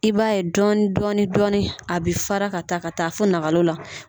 I b'a ye dɔɔni dɔɔni dɔɔni a bɛ fara ka taa ka taa fo nakalo la.